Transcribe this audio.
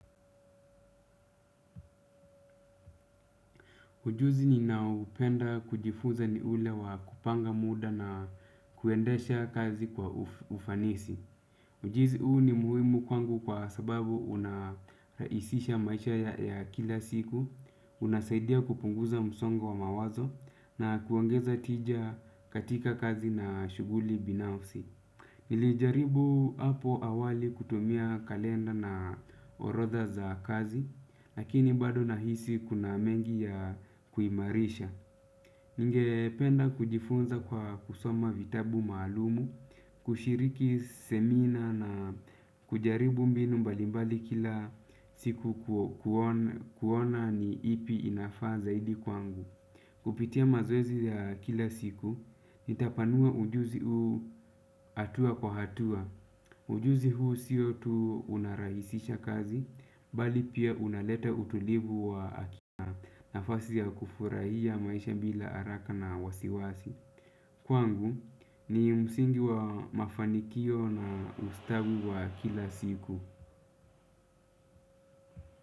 Ujuzi ninaupenda kujifunza ni ule wa kupanga muda na kuendesha kazi kwa ufanisi. Ujuzi huu ni muhimu kwangu kwa sababu unarahisisha maisha ya kila siku, unasaidia kupunguza msongo wa mawazo na kuongeza tija katika kazi na shughuli binafsi. Nilijaribu hapo awali kutumia kalenda na orodha za kazi, lakini bado nahisi kuna mengi ya kuimarisha. Ningependa kujifunza kwa kusoma vitabu maalumu kushiriki semina na kujaribu mbinu mbalimbali kila siku kuona ni ipi inafaa zaidi kwangu. Kupitia mazoezi ya kila siku, nitapanua ujuzi huu hatua kwa hatua. Ujuzi huu siyo tu unarahisisha kazi bali pia unaleta utulivu wa aki nafasi ya kufurahia maisha bila haraka na wasiwasi. Kwangu ni msingi wa mafanikio na ustabu wa kila siku.